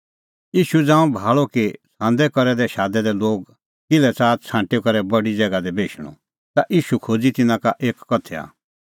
ज़ांऊं ईशू भाल़अ कि छ़ांदै करी शादै दै लोग किल्है च़ाहा छ़ांटी करै बडी ज़ैगा दी बेशणअ ता ईशू खोज़अ तिन्नां लै एक उदाहरण